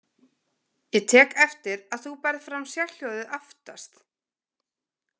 Ég tek eftir að þú berð fram sérhljóðið aftast.